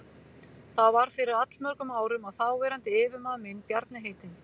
Það var fyrir allmörgum árum að þáverandi yfirmaður minn, Bjarni heitinn